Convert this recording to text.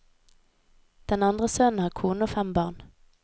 Den andre sønnen har kone og fem barn.